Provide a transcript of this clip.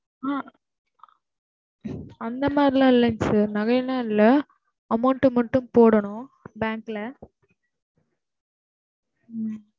அஹ் அந்த மாதிரிலா இல்ல sir நகைலா இல்ல, amount மட்டும் போடணும் bank ல உம்